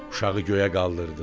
Uşağı göyə qaldırdı.